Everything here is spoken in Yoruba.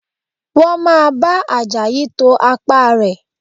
Wọ́n máa bá Àjàyí to apá rẹ̀